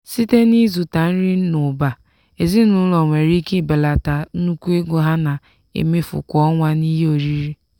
site n'ịzụta nri n'ụba ezinụlọ nwere ike belata nnukwu ego ha na-emefu kwa ọnwa n'ihe oriri.